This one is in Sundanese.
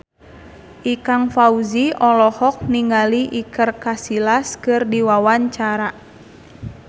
Ikang Fawzi olohok ningali Iker Casillas keur diwawancara